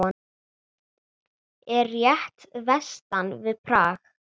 Er rétt vestan við Prag.